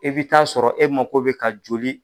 E bi taa sɔrɔ e mako be ka joli